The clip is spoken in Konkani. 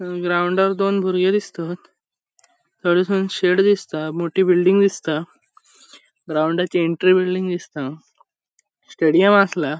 ग्राउंडान दोन बुरगे दिसतात शेड दिसता मोटी बिल्डिंग दिसता ग्राउन्डचे एंट्री बिल्डिंग दिसता स्टेडियम आसला.